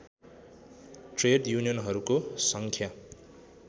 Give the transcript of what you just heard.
trade युनियनहरूको सङ्ख्या